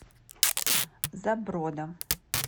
заброда